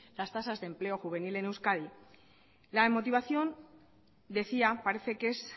las tasa de empleo juvenil en euskadi la motivación decía parece que es